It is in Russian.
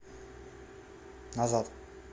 назад